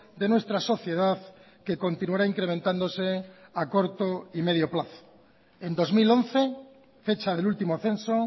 de nuestra sociedad que continuará incrementándose a corto y medio plazo en dos mil once fecha del último censo